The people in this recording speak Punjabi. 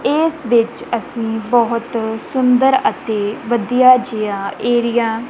ਏਸ ਵਿੱਚ ਅਸੀ ਬਹੁਤ ਸੁੰਦਰ ਅਤੇ ਵਧੀਆ ਜਿਹਾ ਏਰੀਆ --